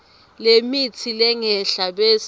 lemitsi lengenhla bese